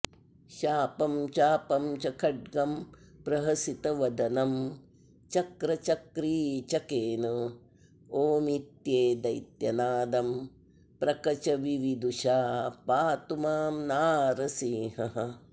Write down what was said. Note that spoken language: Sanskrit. शापं चापं च खड्गं प्रहसितवदनं चक्रचक्रीचकेन ओमित्ये दैत्यनादं प्रकचविविदुषा पातु मां नारसिंहः